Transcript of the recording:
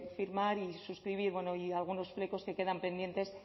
firmar y suscribir y bueno y algunos flecos que quedan pendientes